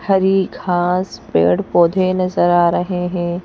हरी घास पेड़ पौधे नजर आ रहे हैं।